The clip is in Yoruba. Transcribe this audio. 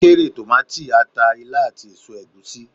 ó kórè tomati, ata, ilá, ati eso egusi.